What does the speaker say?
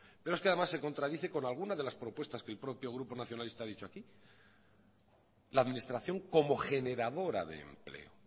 pero es que además se contradice con alguna de las propuestas que el propio grupo nacionalista ha dicho aquí la administración como generadora de empleo